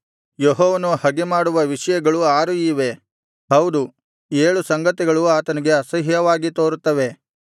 ಯೆಹೋವನು ಹಗೆಮಾಡುವ ವಿಷಯಗಳು ಆರು ಇವೆ ಹೌದು ಏಳು ಸಂಗತಿಗಳು ಆತನಿಗೆ ಅಸಹ್ಯವಾಗಿ ತೋರುತ್ತವೆ